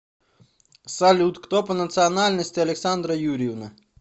салют кто по национальности александра юрьевна